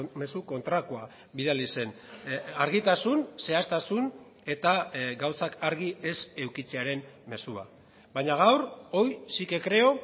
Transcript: mezu kontrakoa bidali zen argitasun zehaztasun eta gauzak argi ez edukitzearen mezua baina gaur hoy sí que creo